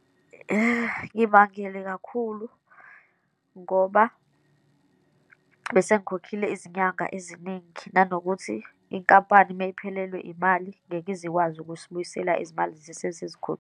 Ngimangele kakhulu ngoba bese ngikhokhile izinyanga eziningi, nanokuthi inkampani uma iphelelwe imali, ngeke izikwazi ukuzibuyisela izimali .